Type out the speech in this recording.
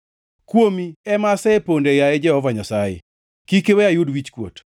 Kuomi ema aseponde, yaye Jehova Nyasaye; kik iwe ayud wichkuot.